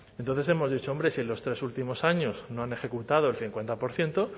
entonces hemos dicho hombre si en los tres últimos años no han ejecutado el cincuenta por ciento